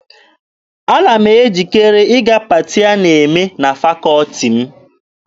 Ana m ejikere ịga paati a na-eme na fakọọti m.